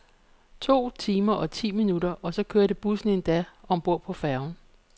To timer og ti minutter og så kørte bussen endda om bord på færgen.